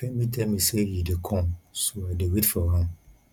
femi tell me say e dey come so i dey wait for am